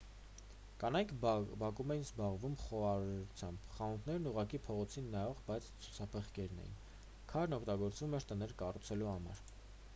կանայք բակում էին զբաղվում խոհարարությամբ խանութներն ուղղակի փողոցին նայող բաց ցուցափեղկերն էին քարն օգտագործվում էր տներ կառուցելու համար